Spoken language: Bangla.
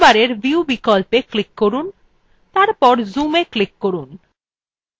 menu bar view বিকল্পে click করুন এবং তারপর zoomএ click করুন